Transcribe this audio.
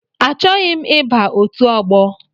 Achọghị m iba ọtu ọgbọ.